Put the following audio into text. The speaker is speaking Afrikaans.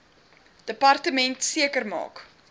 departement maak seker